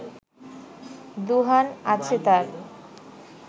দুহান আছে তার